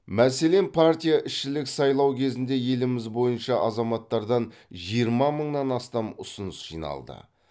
мәселен партияішілік сайлау кезінде еліміз бойынша азаматтардан жиырма мыңнан астам ұсыныс жиналды